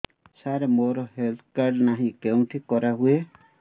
ସାର ମୋର health card ନାହିଁ କେଉଁଠି କରା ହୁଏ